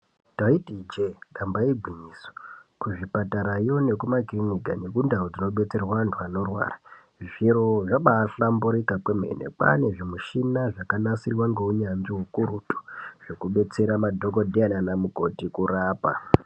Ndaiti ijee damba igwinyiso, kuzvipatarayo nekumakirinika nekundau dzinodetserwa vantu vanorwara, zviro zvabahlamburika kwemene. Kwane zvimushina zvakanasirwa ngeunyanzvi hukurutu zvekudetsera madhokodheya nanamukoti kurapa.